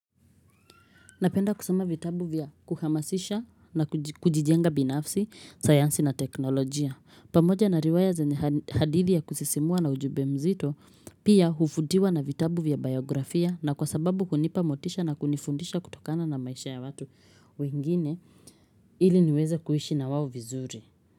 Napenda kusoma vitabu vya kuhamasisha na kujijenga binafsi, sayansi na teknolojia. Pamoja na riwaya zenye hadithi ya kusisimua na ujumbe mzito pia huvutiwa na vitabu vya biografia na kwa sababu kunipa motisha na kunifundisha kutokana na maisha ya watu wengine ili niweze kuishi na wao vizuri.